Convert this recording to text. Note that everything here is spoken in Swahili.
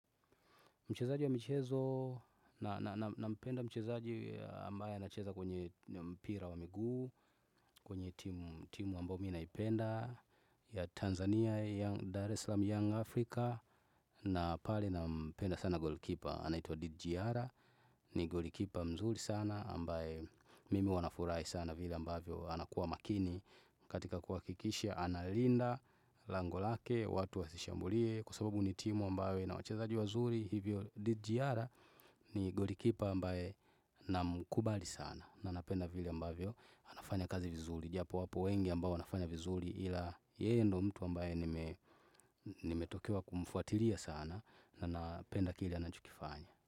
Mchezaji wa michezo na mpenda mchezaji ambaye anacheza kwenye mpira wa miguu, kwenye timu ambayo mii na ipenda ya Tanzania, Dar es Slam, Young Africa na pale na mpenda sana goalkeeper. Anaitwa Didjiara ni golikipa mzuri sana ambaye mimi huwanafurahi sana vile ambayo anakuwa makini katika kwa kuhakikisha analinda langolake watu wa wasishambulie kwa sababu ni timu ambayo ina wachezaji wazuri hivyo Didjiara ni golikipa ambaye na mkubali sana na napenda vile ambavyo anafanya kazi vizuri. Japo wapo wengi ambao wanafanya vizuri ila yeye ndo mtu ambaye nimetokewa kumfuatilia sana na napenda kile anachokifanya.